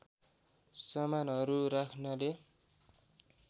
सामानहरू राख्‍नाले